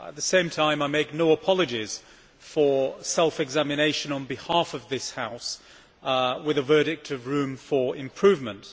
At the same time, I make no apologies for self examination on behalf of this House with a verdict of room for improvement'.